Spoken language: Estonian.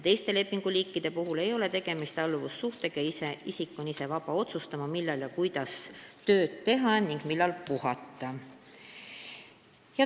Teiste lepinguliikide puhul ei ole tegemist alluvussuhtega ja isik on ise vaba otsustama, millal ja kuidas tööd teha ning millal puhata.